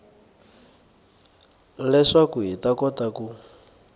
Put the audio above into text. leswaku hi ta kota ku